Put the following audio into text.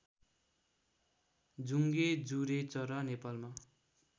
जुंगे जुरेचरा नेपालमा